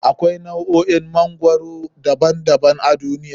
Akwai nau'o'in magwarori daban daban a duniya.